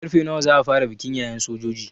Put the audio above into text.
Karfe nawa za a fara bikin yayen sojojin?